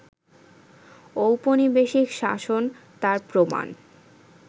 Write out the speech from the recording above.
ঔপনিবেশিক শাসন তার প্রমাণ